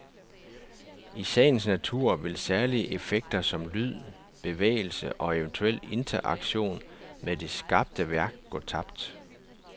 I sagens natur vil særlige effekter som lyd, bevægelse og eventuel interaktion med det skabte værk gå tabt.